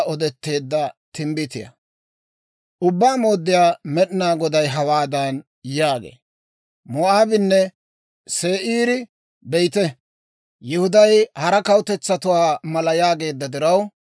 « ‹Ubbaa Mooddiyaa Med'inaa Goday hawaadan yaagee; «Moo'aabinne Se'iiri, be'ite, Yihuday hara kawutetsatuwaa mala yaageedda diraw,